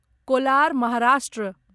Kolar Maharashtra